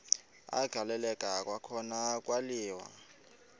agaleleka kwakhona kwaliwa